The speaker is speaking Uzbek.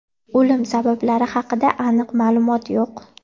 O‘lim sabablari haqida aniq ma’lumot yo‘q.